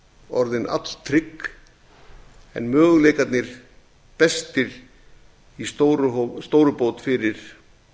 orðin alltrygg en möguleikarnir bestir í stórubót fyrir